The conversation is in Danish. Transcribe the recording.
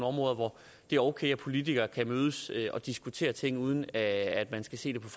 områder hvor det er okay at politikere kan mødes og diskutere ting uden at man skal se det på